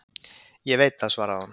Ég veit það, svaraði hún